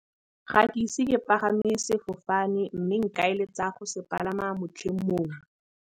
Ga ke ise ke palame sefofane mme nka eletsa go se palama motlheng mongwe.